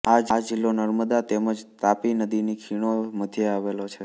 આ જિલ્લો નર્મદા તેમ જ તાપી નદીની ખીણો મધ્યે આવેલો છે